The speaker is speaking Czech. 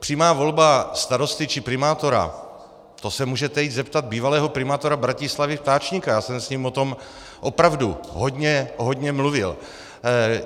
Přímá volba starosty či primátora, to se můžete jít zeptat bývalého primátora Bratislavy Ftáčnika, já jsem s ním o tom opravdu hodně, hodně mluvil.